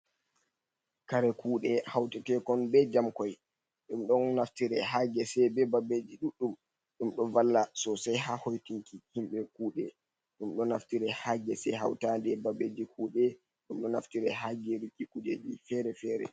Kare kuɗee hautakekon be jamkoi, ɗum ɗon naftira ha gesee be babbeji duɗdum, ɗoo o valla sosai ha hoitinki himbe kuɗee, ɗum ɗo naftira hagesa hautade babbeji kuɗee, dum do naftira ha geriki kujeji fere-fere.